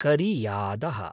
करियादः